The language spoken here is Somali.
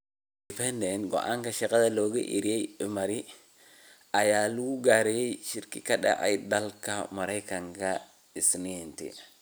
(Independent) Go’aanka shaqada looga eryay Emary ayaa lagu gaaray shir ka dhacay dalka Mareykanka Isniintii.